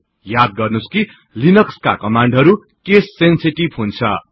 याद गर्नुहोस् कि लिनक्सका कमान्डहरु केस सेन्सेटिभ हुन्छन्